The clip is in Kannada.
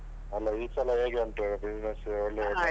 ಅಲ್ಲ ಈ ಸಲ ಹೇಗೆ ಊಂಟು ಎಲ್ಲಾ business ಒಳ್ಳೆ ಉಂಟಾ?